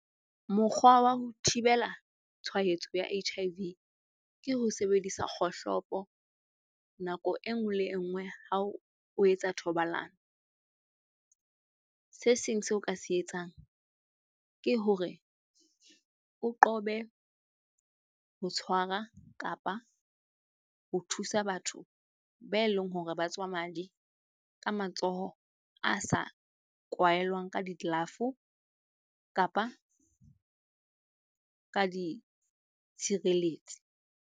Mokgwa wa ho thibela tshwaetso ya H_I_V, ke ho sebedisa kgohlopo nako e nngwe le e nngwe hao o etsa thobalano. Se seng seo ka se etsang ke hore o qobe ho tshwara kapa ho thusa batho ba eleng hore ba tswa madi ka matsoho a sa kwahelwang ka di-glove kapa ka ditshireletsi.